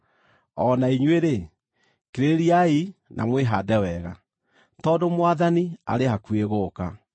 O na inyuĩ-rĩ, kirĩrĩriai na mwĩhaande wega, tondũ Mwathani arĩ hakuhĩ gũũka.